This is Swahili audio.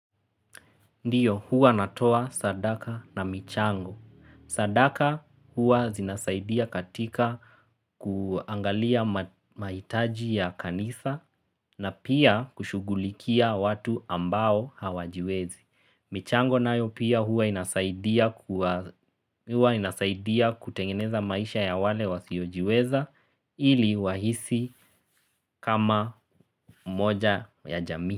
Ndiyo huwa natoa sadaka na michango. Sadaka huwa zinasaidia katika kuangalia maitaji ya kanisa na pia kushughulikia watu ambao hawajiwezi. Michango nayo pia huwa inasaidia kutengeneza maisha ya wale wa sio jiweza hili wahisi kama moja ya jamii.